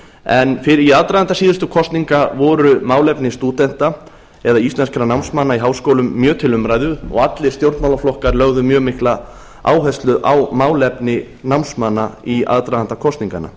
en hér í aðdraganda síðustu kosningar voru málefni stúdenta eða íslenskra námsmanna í háskólum mjög til umræðu og allir stjórnmálaflokkar lögðu mjög mikla áherslu á málefni námsmanna í aðdraganda kosninganna